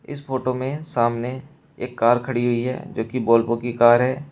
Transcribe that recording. इस फोटो में सामने एक कार खड़ी हुई है जो कि वोल्वो की कार है।